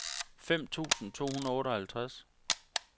fem tusind to hundrede og otteoghalvtreds